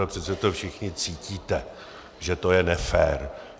A přece to všichni cítíte, že to je nefér.